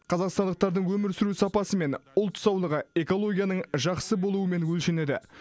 қазақстандықтардың өмір сүру сапасы мен ұлт саулығы экологияның жақсы болуымен өлшенеді